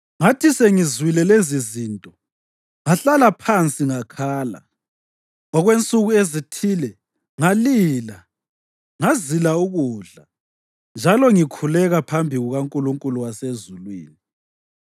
Ngathi sengizwile lezizinto ngahlala phansi ngakhala. Okwensuku ezithile ngalila, ngazila ukudla njalo ngikhuleka phambi kukaNkulunkulu wasezulwini.